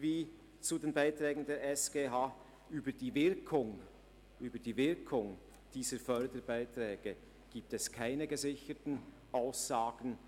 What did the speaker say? Über die Wirkung der Förderbeiträge gibt es keine gesicherten Aussagen.